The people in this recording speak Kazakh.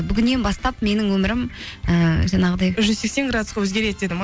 бүгіннен бастап менің өмірім ііі жаңағыдай жүз сексен градусқа өгереді деді ме